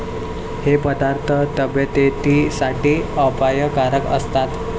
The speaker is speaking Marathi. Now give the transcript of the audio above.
हे पदार्थ तब्येतीसाठी अपायकारक असतात.